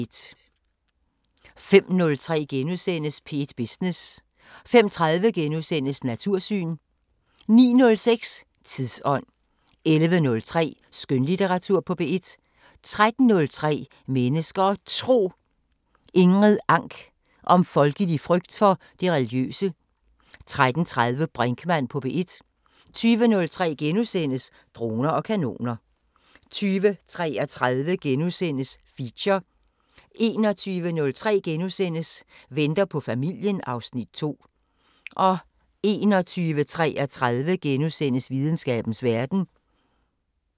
05:03: P1 Business * 05:30: Natursyn * 09:05: Tidsånd 11:03: Skønlitteratur på P1 13:03: Mennesker og Tro: Ingrid Ank om folkelig frygt for det religiøse 13:30: Brinkmann på P1 20:03: Droner og kanoner * 20:33: Feature * 21:03: Venter på familien (Afs. 2)* 21:33: Videnskabens Verden *